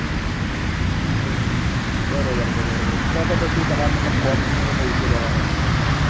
હમ હમ હમ બરોબર છે બરોબર છે તો તો પછી તમારે મતલબ quality નો તો કોઈ issue રેવાનો જ નથી